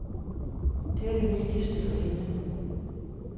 Det er det vigtigste for hende.